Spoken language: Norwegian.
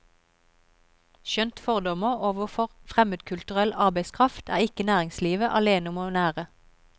Skjønt fordommer overfor fremmedkulturell arbeidskraft er ikke næringslivet alene om å nære.